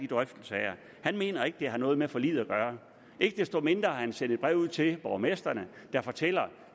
drøftelser han mener ikke det har noget med forliget at gøre ikke desto mindre har han sendt et brev ud til borgmestrene der fortæller